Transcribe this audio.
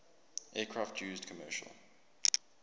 aircraft used commercial